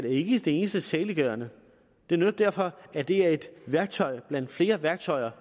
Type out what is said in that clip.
ikke er det eneste saliggørende det er netop derfor at det er et værktøj blandt flere værktøjer